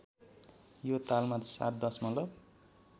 यो तालमा ७ दशमलव